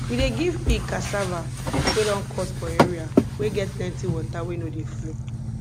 we dey give pig cassava wey don cut for area wey get plenti water wey no dey flow